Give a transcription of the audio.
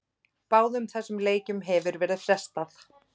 Báðum þessum leikjum hefur verið frestað.